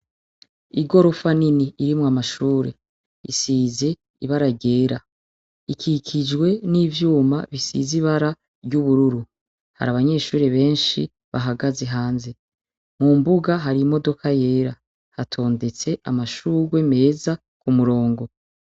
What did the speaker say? Igorofa nini irimwo amashure isize ibara ryera, ikikijwe n'ivyuma bisize ibara ry'ubururu, har'abanyeshure benshi bahagaze hanze, Mumbuga hari imodoka yera , hatondetse amashugwe meza umurongo.